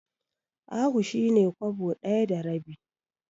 Ahu shi ne Kwabo ɗaya da rabi.